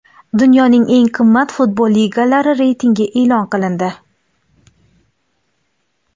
Dunyoning eng qimmat futbol ligalari reytingi e’lon qilindi.